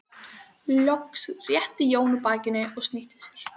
Loks rétti Jón úr bakinu og snýtti sér.